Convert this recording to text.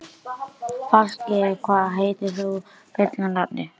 Fálki, hvað heitir þú fullu nafni?